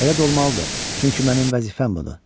Elə də olmalıdır, çünki mənim vəzifəm budur.